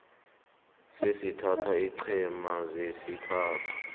sesithathu iinqhema zesithathu